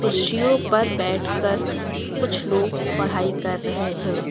कुर्सियों पर बैठकर कुछ लोग पढ़ाई कर रहे हैं।